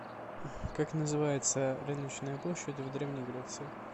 как называется рыночная площадь в древней греции